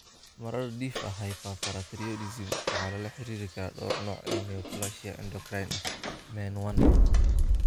Marar dhif ah, hyperparathyroidism waxaa lala xiriirin karaa dhowr nooc oo neoplasia endocrine ah (MEN1).